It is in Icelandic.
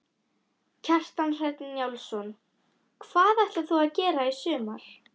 Kjartan Hreinn Njálsson: Hvað ætlar þú að gera í sumar?